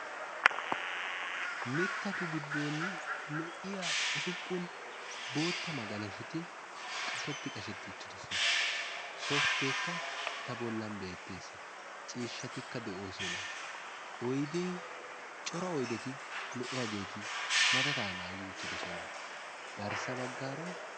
Mittatu giddon lo'iya usuppun bootta magalashoti qashetti qashetti uttidosona. Softteekka eta bollan beettes. Ciishshatikka de'oosona. Oydee cora aydeti lo'iyageeti madadaa naagi uttidosona. Garssa baggaara....